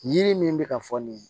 Yiri min bɛ ka fɔ nin ye